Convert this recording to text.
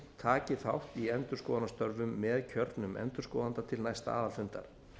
taki þátt í endurskoðunarstörfum með kjörnum endurskoðanda til næsta aðalfundar